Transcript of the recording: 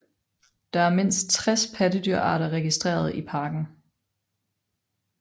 Der er mindst 60 pattedyrarter registreret i parken